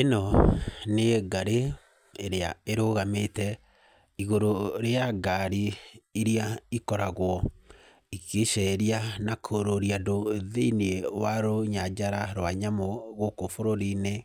ĩno nĩ ngarĩ ĩrĩa ĩrũgamĩte igũrũ rĩa ngari irĩa ikoragwo igĩceria na kũũrũria andũ thĩiniĩ wa rũnyajara rwa nyamũ gũkũ bũrũri-inĩ,